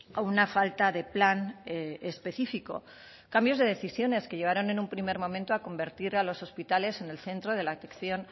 a una falta de plan específico cambios de decisiones que llevaron en un primer momento a convertir a los hospitales en el centro de la atención